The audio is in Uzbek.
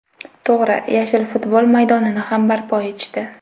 To‘g‘ri, yashil futbol maydonini ham barpo etishdi.